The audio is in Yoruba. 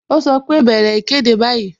Ó sọ pé "bẹ̀rẹ̀ ìkéde báyìí"